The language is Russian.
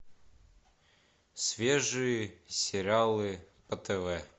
свежие сериалы по тв